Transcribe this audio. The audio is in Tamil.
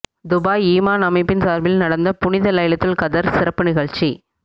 துபாய் ஈமான் அமைப்பின் சார்பில் நடந்த புனித லைலத்துல் கத்ர் சிறப்பு நிகழ்ச்சி